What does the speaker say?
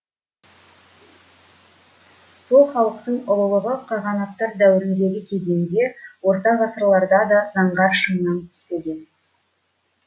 сол халықтың ұлылығы қағанаттар дәуіріндегі кезеңде орта ғасырларда да заңғар шыңнан түспеген